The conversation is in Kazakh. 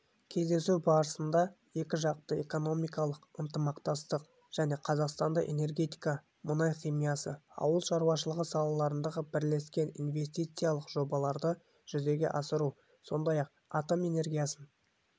кездесу барысында екіжақты экономикалық ынтымақтастық және қазақстанда энергетика мұнай химиясы ауыл шаруашылығы салаларындағы бірлескен инвестициялық жобаларды жүзеге асыру сондай-ақ атом энергиясын